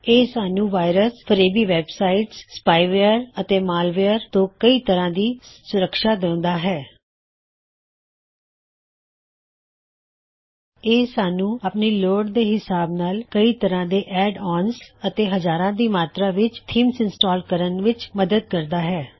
ਇਹ ਸਾੱਨ੍ਹੂੰ ਵਾਇਰਸ ਫਰੇਬੀ ਵੇਬਸਾਇਟਸ ਸਪਾਏ ਵੇਅਰ ਅਤੇ ਮਾਲਵੇਅਰ ਤੋ ਕਈ ਤਰ੍ਹਾਂ ਦੀ ਸੁਰਕ੍ਸ਼ਾ ਦੇਉਂਦਾ ਹੈ ਇਹ ਸਾੱਨ੍ਹੂੰ ਆਪਣੀ ਲੌੜ ਦੇ ਹਿਸਾਬ ਨਾਲ ਕਈ ਤਰ੍ਹਾਂ ਦੇ ਐਡ ਆਨਜ਼ ਅਤੇ ਹਜ਼ਾਰਾਂ ਦੀ ਮਾਤਰਾ ਵਿੱਚ ਥੀਮਜ਼ ਇੰਸਟਾਲ ਕਰਨ ਵਿੱਚ ਮਦਦ ਕਰਦਾ ਹੈ